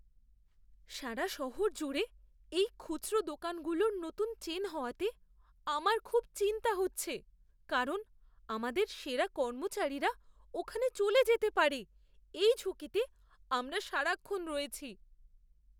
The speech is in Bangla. সারা শহর জুড়ে এই খুচরো দোকানগুলোর নতুন চেন হওয়াতে আমার খুব চিন্তা হচ্ছে, কারণ আমাদের সেরা কর্মচারীরা ওখানে চলে যেতে পারে এই ঝুঁকিতে আমরা সারাক্ষণ রয়েছি!